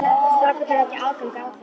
Strákarnir hafa ekki aðgang að þeim?